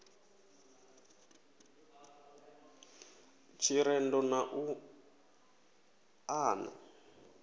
ḽa tshirendo na u ṱana